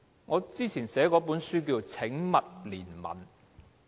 我之前寫了一本書，名為《請勿憐憫》。